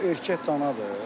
O erkək danadır.